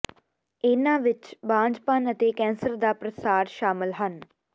ਇਹਨਾਂ ਵਿੱਚ ਬਾਂਝਪਨ ਅਤੇ ਕੈਂਸਰ ਦਾ ਪ੍ਰਸਾਰ ਸ਼ਾਮਲ ਹਨ